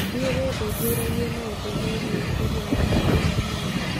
Thiĩ wĩthuthuragie maũndũ megiĩ ũgima waku wa mwĩrĩ.